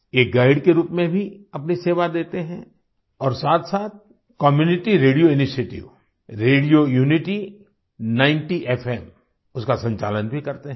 ये गाइड के रूप में भी अपनी सेवा देते हैं और साथसाथ community radio initiative radio unity 90 FM उसका संचालन भी करते हैं